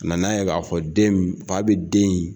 A n'a ye k'a fɔ fa bɛ den in , fa bɛ den in